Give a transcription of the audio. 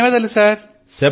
ధన్యవాదాలు సర్